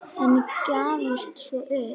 En gafst svo upp.